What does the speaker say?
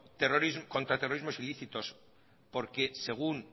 contraterrorismos ilícitos porque según